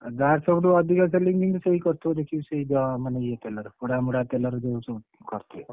ଯାହାର ସବୁଠୁ ଅଧିକ selling ହେଇନଥିବ ସେଇ କରିଥିବ ଦେଖିବୁ ସେଇ ଇଏ ତେଲରେ ପୋଡା ମୋଡା ତେଲରେ ଯୋଉ ସବୁ କରୁଥିବେ।